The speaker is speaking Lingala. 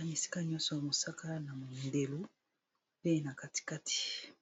esika nyonso eza langi mosaka na motane esika nyoso